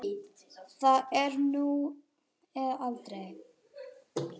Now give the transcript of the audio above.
Það er nú eða aldrei.